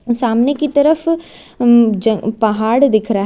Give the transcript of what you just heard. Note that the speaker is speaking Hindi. सामने की तरफ अअअ ज पहाड़ दिख रहा है।